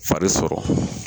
Fari sɔrɔ.